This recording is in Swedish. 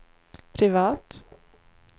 privat